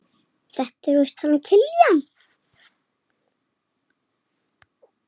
Þetta er víst hann Kiljan.